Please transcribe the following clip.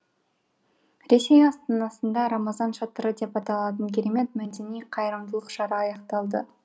ресей астанасында рамазан шатыры деп аталатын керемет мәдени қайырымдылық шара аяқталды